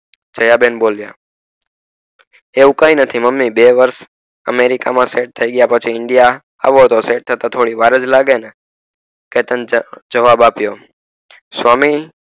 દયા બેન બોલિયાં એવું કય નથી મમ્મી બે વર્ષ america માં set થઈ ગયા પછી india એવું તો set થતા થોડી વાર જ લાગે ને કેતન ને જવાબ અપિયો સ્વામી